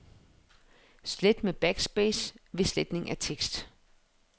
Slet med backspace ved sletning af tekst.